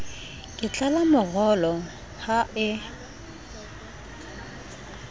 ke tlala morolo ha e